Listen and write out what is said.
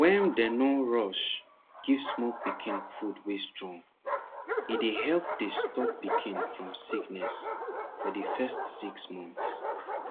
wen dem nor rush give small pikin food wey strong e dey help dey stop pikin from sickness for de first six months